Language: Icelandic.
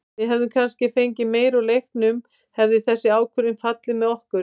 Við hefðum kannski fengið meira úr leiknum hefði þessi ákvörðun fallið með okkur.